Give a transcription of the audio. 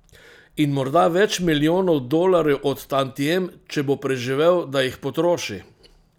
In morda več milijonov dolarjev od tantiem, če bo preživel, da jih potroši.